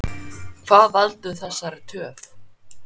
Hvað veldur þessari töf?